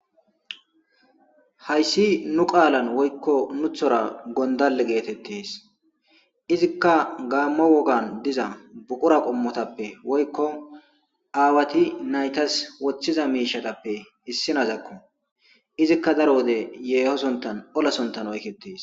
Hayssi nu qaalan woykko nuthora gondale geetettees izikka gaammo wogan diza buqura qommotappe woykko aawati naytas woththiza miishatappe issinazakko izikka daro wode yeehosontan olasontan oykettees.